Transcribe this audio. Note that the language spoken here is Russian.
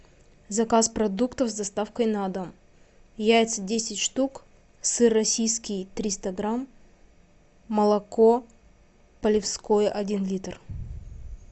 заказ продуктов с доставкой на дом яйца десять штук сыр российский триста грамм молоко полевское один литр